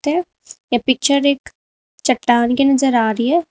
ते ये पिक्चर एक चट्टान की नजर आ रही है।